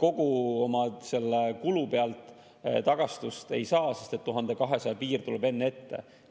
kogu oma kulu pealt tagastust ei saa, sest et 1200 piir tuleb enne ette.